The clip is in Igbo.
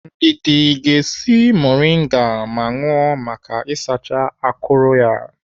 Ndidi ga-esi moringa ma ṅụọ maka isacha akụrụ ya.